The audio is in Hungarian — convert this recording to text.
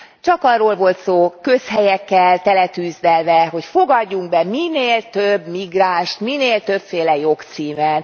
Csak arról volt szó közhelyekkel teletűzdelve, hogy fogadjunk be minél több migránst, minél többféle jogcímen.